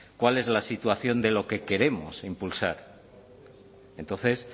cuál es la situación de lo que queremos impulsar entonces